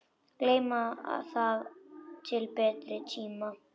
Geyma það til betri tíma.